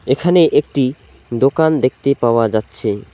এখানে একটি দোকান দেখতে পাওয়া যাচ্ছে।